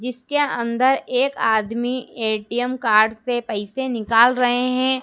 जीसके अंदर एक आदमी ए_टी_एम कार्ड से पैसे निकल रहे हैं।